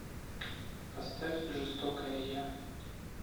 поставь жестокая я